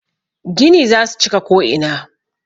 Gini za su cika ko'ina.